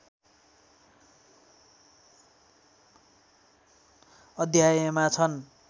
अध्यायमा छन्